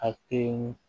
A te